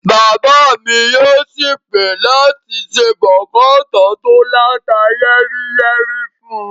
Bàbá mi yóò sì pè láti se bọ̀kọ̀tọ́ọ̀ tí ó láta yẹ́ríyẹ́rí fún un